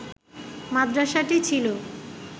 মাদ্রাসাটি ছিল